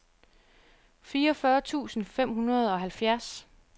fireogfyrre tusind fem hundrede og halvfjerds